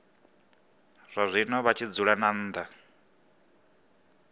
zwazwino vha tshi dzula nnḓa